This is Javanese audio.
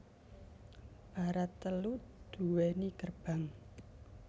Barat telu duwéni gerbang